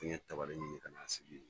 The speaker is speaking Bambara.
N ye dɔ wɛrɛ ɲini ka t'a sigi yen